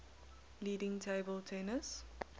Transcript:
leading table tennis